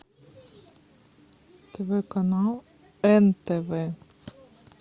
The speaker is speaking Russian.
тв канал нтв